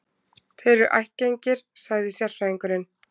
Þeir eru ættgengir, sagði sérfræðingurinn.